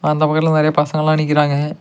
அந்த பக்கத்துல நறைய பசங்கலா நிக்கிறாங்க.